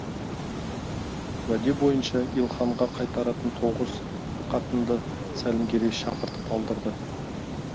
уәде бойынша илханға қайтаратын тоғыз қатынды сәлімгерей шақыртып алдырды